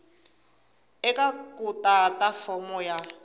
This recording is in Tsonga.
eka ku tata fomo ya